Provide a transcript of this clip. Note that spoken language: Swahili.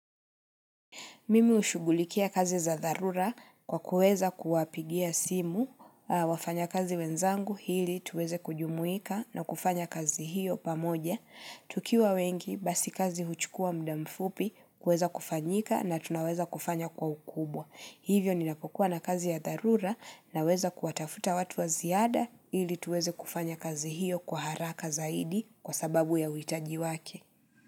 Mimi ushugulikia kazi za dharura kwa kuweza kuwapigia simu, wafanyakazi wenzangu ili tuweze kujumuika na kufanya kazi hiyo pamoja. Tukiwa wengi basi kazi huchukua muda mfupi kuweza kufanyika na tunaweza kufanya kwa ukubwa. Hivyo ninapokua na kazi ya tharura na weza kuatafuta watu wa ziada ili tuweze kufanya kazi hiyo kwa haraka zaidi kwa sababu ya uhitaji wake.